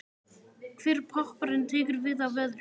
Hver popparinn tekur við af öðrum.